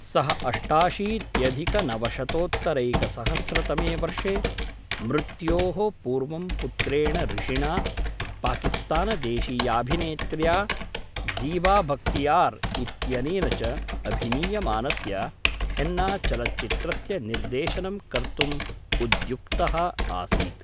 सः अष्टाशीत्यधिकनवशतोत्तरैकसहस्रतमे वर्षे मृत्योः पूर्वं पुत्रेण ऋषिणा, पाकिस्तानदेशीयाभिनेत्र्या ज़ीबाबख्तियार् इत्यनेन च अभिनीयमानस्य हेन्नाचलच्चित्रस्य निर्देशनं कर्तुम् उद्युक्तः आसीत्।